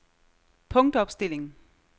punktopstilling